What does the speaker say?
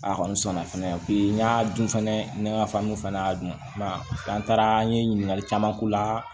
A kɔni sɔnna fɛnɛ n y'a dun fɛnɛ ne ka faamu fɛnɛ y'a dun m'a ye an taara an ye ɲininkali caman k'u la